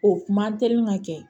O kuma teliman ka kɛ